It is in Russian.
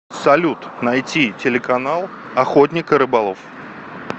салют найти телеканал охотник и рыболов